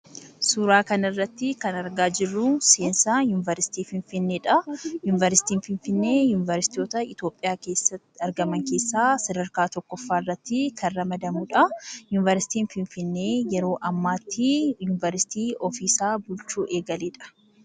Suuraa kana irratti kan argaa jirruu, seensaa Yuunivarsiitii Finfinneedhaa. Yuunivarsiitiin Finfinnee, Yuuniversiitota Itoophiyaa argaman keessaa sadarkaa tokkoffaa irratti kan ramadamudhaa. Yuunivarsiitiin Finfinnee yeroo ammaattii , Yuuniversiitii ofii isaa bulchuu eegaledha.